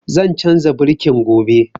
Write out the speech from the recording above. Zan canza birkin gobe